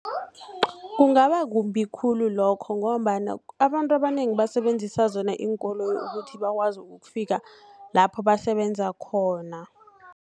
Kungaba kumbi khulu lokho, ngombana abantu abanengi basebenzisa zona iinkoloyi, ukuthi bakwazi ukufika lapho basebenza khona.